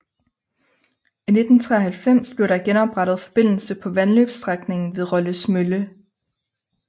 I 1993 blev der genoprettet forbindelse på vandløbsstrækningen ved Rolles Mølle